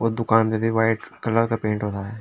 अ दुकान पे भी वाइट कलर का पेंट हो रहा है।